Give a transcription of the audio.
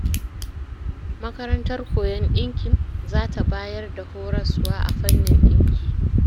Makarantar koyon ɗinkin za ta bayar da horaswa a fannin ɗinki